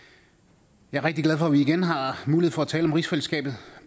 jeg er rigtig glad for at vi igen har mulighed for at tale om rigsfællesskabet